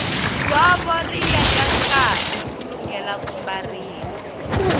dzovo ri yeka nkarhi ku lunghela ku mbariwa